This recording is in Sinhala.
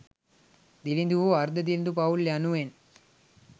දිළිඳු හෝ අර්ධ දිළිඳු පවුල් යනුවෙන්